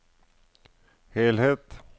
helhet